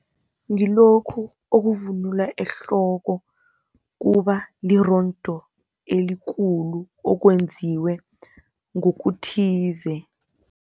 Ngilokhu okuvunulwa ehloko, kuba lirondo elikulu, okwenziwe ngokuthize.